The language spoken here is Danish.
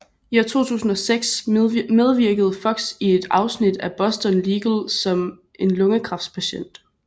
I 2006 medvirkede Fox i et afsnit af Boston Legal som en lungekræftspatient